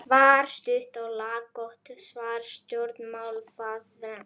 var stutt og laggott svar stjórnmálaforingjans.